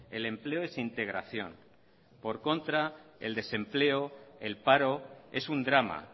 el empleo es integración por el contrario el desempleo el paro es un drama